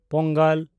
Pongal